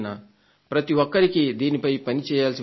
ప్రతి ఒక్కరికీ దీనిపై పని చేయాల్సి వస్తుంది